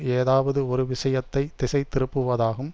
ஏதாவது ஒரு விஷயத்தை திசை திருப்புவதாகும்